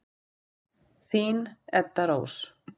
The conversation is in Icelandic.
Þín, Edda Rós.